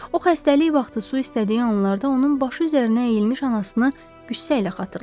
O xəstəlik vaxtı su istədiyi anlarda onun başı üzərinə əyilmiş anasını qüssə ilə xatırladı.